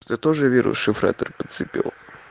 ты тоже вирус шифратор подцепил